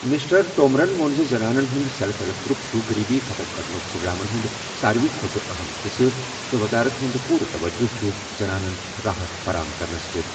Mister تومرَن ووٚن زِ زنانَن ہُنٛد سیلف ہیلپ گروپ چھُ غریبی ختم کرنٕک پروگرامَن ہُنٛد ساروِی کھۄتہٕ اَہَم حصہٕ تہٕ وزارت ہُنٛد پوٗرٕ توجہ چھُ زنانَن راحت فراہم کرنس پٮ۪ٹھ ۔